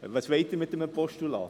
Was wollen Sie mit einem Postulat?